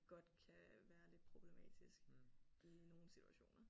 Godt kan være lidt problematisk i nogle situationer